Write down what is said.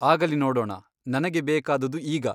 ಆಗಲಿ ನೋಡೋಣ ನನಗೆ ಬೇಕಾದುದು ಈಗ.